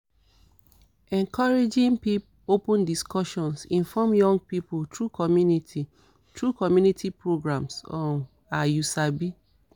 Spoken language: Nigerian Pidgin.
encouraging open discussions informs young pipo through community through community programs um ah you sabi